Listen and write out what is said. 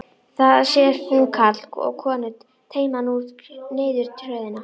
Þá sér hún karl og konu teyma kú niður tröðina.